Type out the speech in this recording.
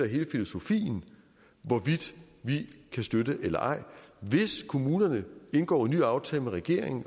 hele filosofien hvorvidt vi kan støtte eller ej hvis kommunerne indgår en ny aftale med regeringen